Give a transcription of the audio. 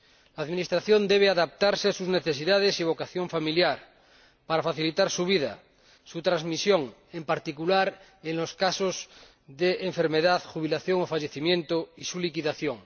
La administración debe adaptarse a sus necesidades y vocación familiar para facilitar su vida, su transmisión, en particular en los casos de enfermedad, jubilación o fallecimiento, y su liquidación.